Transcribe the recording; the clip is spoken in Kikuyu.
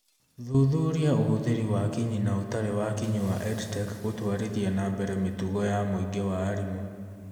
Thuthuria ũhũthĩri wa kinyi na ũtarĩ wa kĩnyi wa EdTech gũtwarithia na mbere mĩtugo ya mũingĩ wa arimũ.